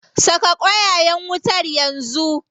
Saka ƙwayayen wutar yanzu.